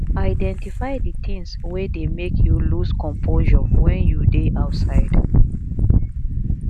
identify di things wey dey make you loose composure when you dey outside